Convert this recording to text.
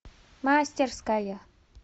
мастерская